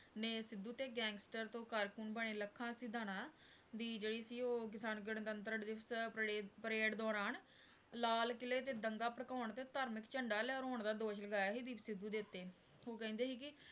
ਨੇ ਸਿੱਧੂ ਤੇ gangster ਤੋਂ ਕਾਰਕੂਨ ਬਣੇ ਲੱਖਾਂ ਸਿਧਾਣਾਂ ਦੀ ਜਿਹੜੀ ਸੀ ਉਹ ਕਿਸਾਨ ਗਣਤੰਤਰ ਦਿਵਸ ਪਰਡੇਅ parade ਦੌਰਾਨ ਲਾਲ ਕਿਲ੍ਹੇ ਤੇ ਦੰਗਾ ਭੜਕਾਉਣ ਤੇ ਧਾਰਮਿਕ ਝੰਡਾ ਲਹਰਾਉਣ ਦਾ ਦੋਸ਼ ਲਗਾਇਆ ਸੀ ਦੀਪ ਸਿੱਧੂ ਦੇ ਉੱਤੇ, ਉਹ ਕਹਿੰਦੇ ਸੀ ਕਿ